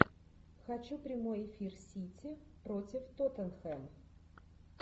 хочу прямой эфир сити против тоттенхэм